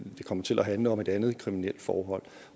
det kommer til at handle om et andet kriminelt forhold